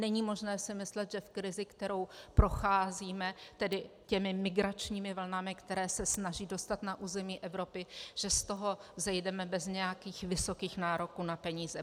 Není možné si myslet, že v krizi, kterou procházíme, tedy těmi migračními vlnami, které se snaží dostat na území Evropy, že z toho vzejdeme bez nějakých vysokých nároků na peníze.